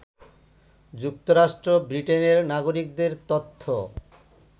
যুক্তরাষ্ট্র ব্রিটেনের নাগরিকদের তথ্য